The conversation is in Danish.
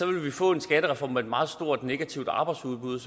ville vi få en skattereform med et meget stort negativt arbejdsudbud